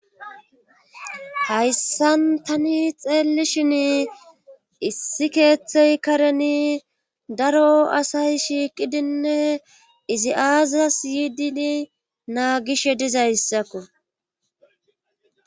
hayssan tani xeellishin issi keeththey kareni daro asay shiiqidinne izi aazas yiidini naagishe dizayssakko